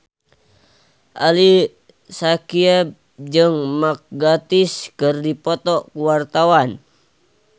Ali Syakieb jeung Mark Gatiss keur dipoto ku wartawan